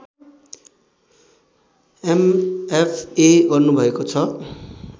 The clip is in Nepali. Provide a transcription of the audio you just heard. एमएफए गर्नुभएको छ